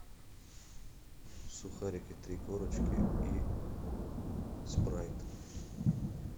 сухарики три корочки и спрайт